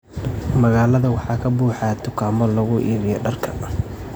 Magaalada waxaa ka buuxa dukaamo lagu iibiyo dharka.